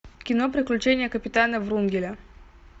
кино приключения капитана врунгеля